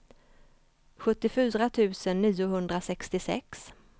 sjuttiofyra tusen niohundrasextiosex